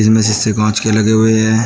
जिनमें शीशे कांच के लगे हुए हैं।